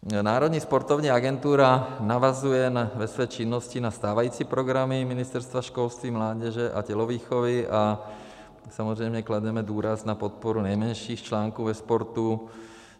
Národní sportovní agentura navazuje ve své činnosti na stávající programy Ministerstva školství, mládeže a tělovýchovy a samozřejmě klademe důraz na podporu nejmenších článků ve sportu.